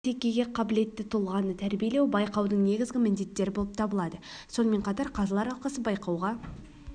дамыған бәсекеге қабілетті тұлғаны тәрбилеу байқаудың негізгі міндеттері болып табылады сонымен қатар қазылар алқасы байқауға